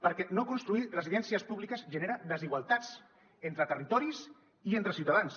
perquè no construir residències públiques genera desigualtats entre territoris i entre ciutadans